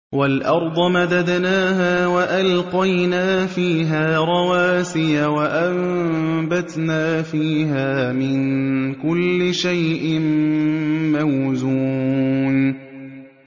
وَالْأَرْضَ مَدَدْنَاهَا وَأَلْقَيْنَا فِيهَا رَوَاسِيَ وَأَنبَتْنَا فِيهَا مِن كُلِّ شَيْءٍ مَّوْزُونٍ